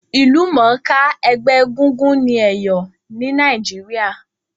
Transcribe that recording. Ìlúmònká ẹgbẹ́ egúngún ni Èyò ni Naíjiria